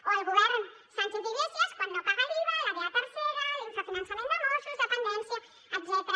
o el govern sánchez iglesias quan no paga l’iva la da tercera l’infrafinançament de mossos dependència etcètera